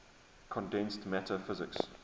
condensed matter physics